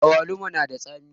Awaluma na da tsami